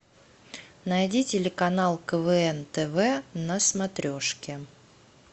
найди телеканал квн тв на смотрешке